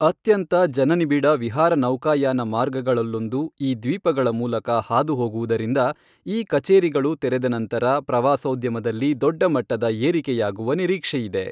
ಅತ್ಯಂತ ಜನನಿಬಿಡ ವಿಹಾರ ನೌಕಾಯಾನ ಮಾರ್ಗಗಳಲ್ಲೊಂದು ಈ ದ್ವೀಪಗಳ ಮೂಲಕ ಹಾದುಹೋಗುವುದರಿಂದ ಈ ಕಚೇರಿಗಳು ತೆರೆದ ನಂತರ ಪ್ರವಾಸೋದ್ಯಮದಲ್ಲಿ ದೊಡ್ಡಮಟ್ಟದ ಏರಿಕೆಯಾಗುವ ನಿರೀಕ್ಷೆಯಿದೆ.